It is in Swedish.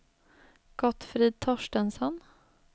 Gottfrid Torstensson